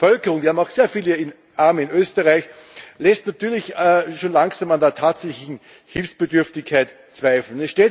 Und die Bevölkerung wir haben auch sehr viele Arme in Österreich lässt natürlich schön langsam an der tatsächlichen Hilfsbedürftigkeit zweifeln.